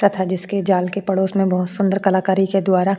तथा जिसके जाल के पड़ोस में बहुत सुंदर कलाकारी के द्वारा --